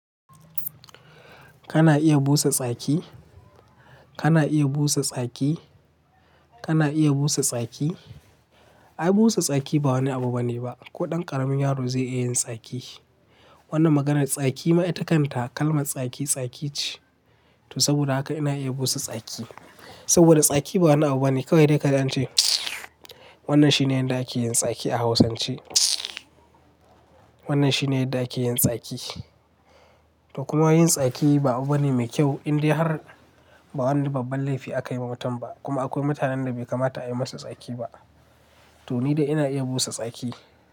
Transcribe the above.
Kana iya busa tsaki? Kana iya busa tsaki? Kana iya busa tsaki? Ai busa tsaki ba wani abu bane ba. Ko ɗan ƙaramin yaro zai iya yin tsaki. Wannan maganar tsaki ma ita kanta kalmar tsaki, tsaki ce. To saboda haka ina iya busa tsaki. Saboda tsaki ba wani abu bane. Kawai dai ka kaji ance wannan shine yadda ake yin tsaki a Hausance. Wannan shine yadda ake yin tsaki. To kuma yin tsaki ba abu bane mai kyau, indai har ba wani babban laifi aka yi wa mutum ba. Kuma akwai mutanen da bai kamata a yi musu tsaki ba. To ni dai ina iya busa tsaki.